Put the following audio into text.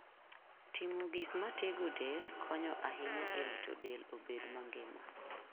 Timo gik matego del konyo ahinya e rito del obed mangima.